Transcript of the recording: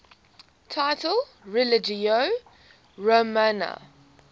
title religio romana